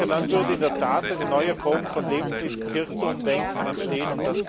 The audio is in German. Dann würde in der Tat eine neue Form von Lebensmittelkirchturmdenken entstehen.